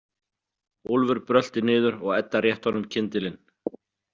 Úlfur brölti niður og Edda rétti honum kyndilinn.